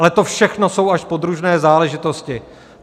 Ale to všechno jsou až podružné záležitosti.